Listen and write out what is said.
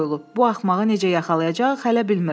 Bu axmağı necə yaxalayacağıq, hələ bilmirəm.